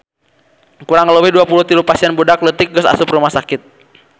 Kurang leuwih 23 pasien budak leutik geus asup rumah sakit